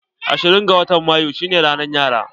Ashirin da bakwai ga watan mayu shine ranan yara.